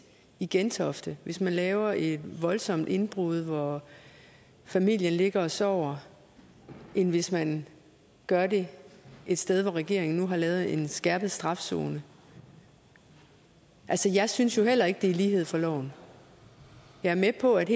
i gentofte hvis man laver et voldsomt indbrud hvor familien ligger og sover end hvis man gør det et sted hvor regeringen nu har lavet en skærpet straf zone altså jeg synes jo heller ikke det er lighed for loven jeg er med på at